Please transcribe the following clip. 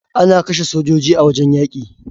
Ana kashe sojoji a wajen yaƙi